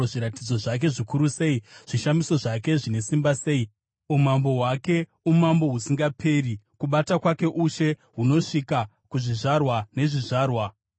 Zviratidzo zvake zvikuru sei, zvishamiso zvake zvine simba sei! Umambo hwake umambo husingaperi; kubata kwake ushe kunosvika kuzvizvarwa nezvizvarwa.